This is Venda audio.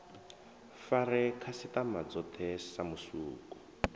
fare khasitama dzothe sa musuku